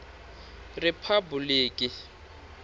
riphabuliki